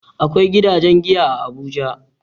Akwai gidajen giya a Abuja.